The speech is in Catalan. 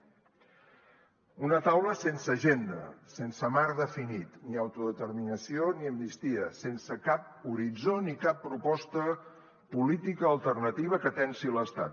una taula sense agenda sense marc definit ni autodeterminació ni amnistia sense cap horitzó ni cap proposta política alternativa que tensi l’estat